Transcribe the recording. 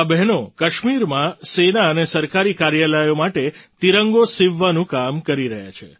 આ બહેનો કાશ્મીરમાં સેના અને સરકારી કાર્યાલયો માટે તિરંગો સિવવાનું કામ કરી રહી છે